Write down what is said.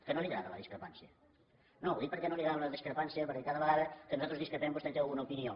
que no li agrada la discrepància no ho dic que no li agrada la discrepància perquè cada vegada que nosaltres discrepem vostè té alguna opinió